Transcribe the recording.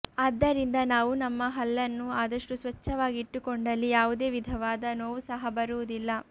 ಆದ್ದರಿಂದ ನಾವು ನಮ್ಮ ಹಲ್ಲನ್ನು ಆದಷ್ಟು ಸ್ವಚ್ಛವಾಗಿ ಇಟ್ಟುಕೊಂಡಲ್ಲಿ ಯಾವುದೇ ವಿಧವಾದ ನೋವು ಸಹ ಬರುವುದಿಲ್ಲ